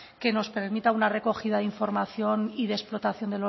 que nos permita una recogida de información y de explotación